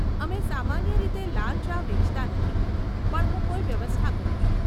અમે સામાન્ય રીતે લાલ ચા વેચતા નથી, પણ હું કોઈ વ્યવસ્થા કરીશ.